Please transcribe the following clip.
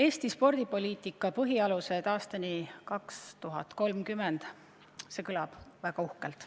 "Eesti spordipoliitika põhialused aastani 2030" – see kõlab väga uhkelt.